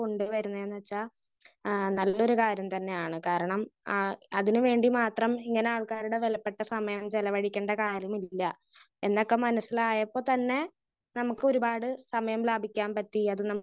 Speaker 1 കൊണ്ട് വരുന്നതേന്ന് വെച്ചാ ആഹ് നല്ലൊരു കാര്യം തന്നെയാണ്. കാരണം ആഹ് അതിന് വേണ്ടി മാത്രം ഇങ്ങനെ ആൾക്കാരുടെ വിലപ്പെട്ട സമയം ചെലവഴിക്കേണ്ട കാര്യമില്ല. എന്നൊക്കെ മനസ്സിലായപ്പൊ തന്നെ നമുക്ക് ഒരുപാട് സമയം ലാഭിക്കാൻ പറ്റി. അത് നമുക്ക്